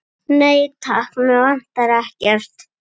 Nei, takk, mig vantar ekkert.